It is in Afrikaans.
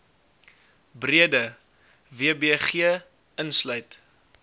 breede wbg insluit